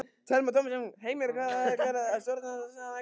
Telma Tómasson: Heimir hvað ætlar stjórnarandstaðan að gera?